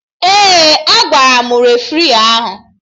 Ee, agwara m refri ahụ